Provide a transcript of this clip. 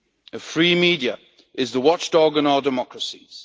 A free media is the watchdog in our democracies.